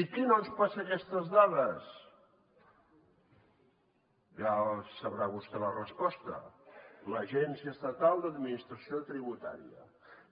i qui no ens passa aquestes dades ja deu saber vostè la resposta l’agència estatal d’administració tributària